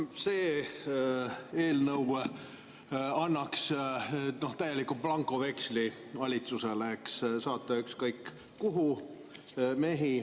See eelnõu annaks valitsusele täieliku blankoveksli saata mehi ükskõik kuhu.